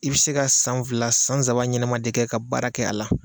I be se ka san fila san saban ɲɛnama de kɛ ka baara kɛ a la